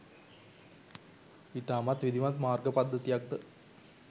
ඉතාමත් විධිමත් මාර්ග පද්ධතියක්ද